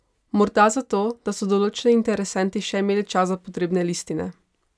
Morda zato, da so določeni interesenti še imeli čas za potrebne listine?